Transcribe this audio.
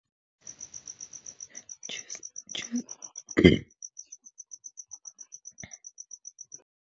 .